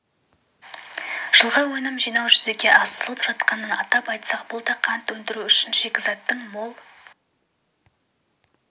жылғы өнім жинау жүзеге асырылып жатқанын атап айтсақ бұл да қант өндіру үшін шикізаттың мол